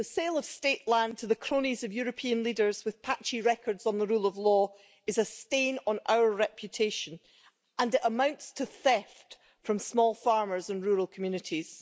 The sale of state land to the cronies of European leaders with patchy records on the rule of law is a stain on our reputation, and it amounts to theft from small farmers and rural communities.